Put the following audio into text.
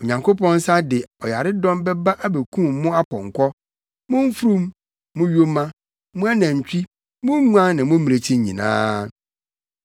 Onyankopɔn nsa de ɔyaredɔm bɛba abekum mo apɔnkɔ, mo mfurum, mo yoma, mo anantwi, mo nguan ne mo mmirekyi nyinaa.